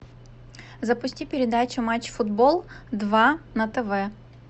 запусти передачу матч футбол два на тв